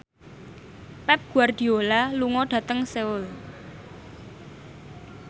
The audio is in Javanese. Pep Guardiola lunga dhateng Seoul